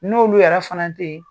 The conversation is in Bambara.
N'olu yɛrɛ fana teyi